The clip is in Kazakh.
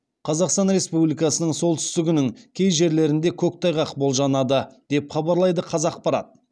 қазақстан республикасының солтүстігінің кей жерлерінде көктайғақ болжанады деп хабарлайды қазақпарат